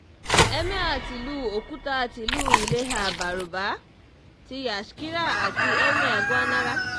emir tìlú òkúta tìlú ilhéhà-bárúbà ti yashkira àti emir gwanára